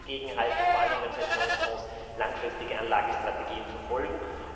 Da kann man dagegenhalten, vor allem, wenn Pensionsfonds langfristige Anlagestrategien verfolgen.